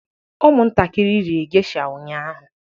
Ụmụntakịrị rie geisha ụnyahụ